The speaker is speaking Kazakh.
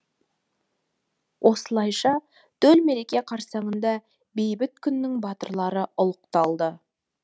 осылайша төл мереке қарсаңында бейбіт күннің батырлары ұлықталды